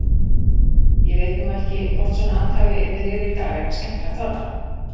Ég veit nú ekki hvort svona athæfi yrði liðið í dag en skemmtilegt var það.